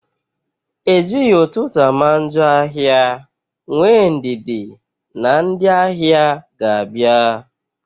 Ejighị ụtụtụ ama njọ ahịa, nwee ndidi na ndị ahịa ga-abịa